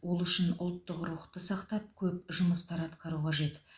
ол үшін ұлттық рухты сақтап көп жұмыстар атқару қажет